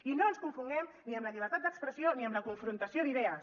i no ens confonguem ni amb la llibertat d’expressió ni amb la confrontació d’idees